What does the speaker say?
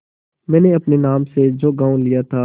मैंने अपने नाम से जो गॉँव लिया था